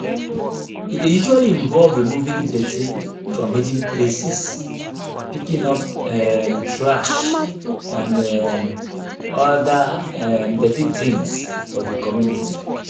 e dey usually involve removing dirty from hidden places picking up um trash and um oda um dirty things for di community